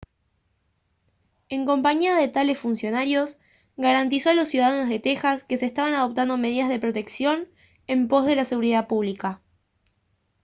en compañía de tales funcionarios garantizó a los ciudadanos de texas que se estaban adoptando medidas de protección en pos de la seguridad pública